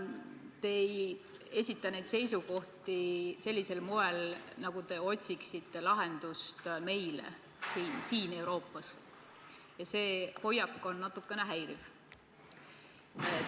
Te ei esita neid seisukohti sellisel moel, nagu te otsiksite lahendust meile siin Euroopas, ja see hoiak on natukene häiriv.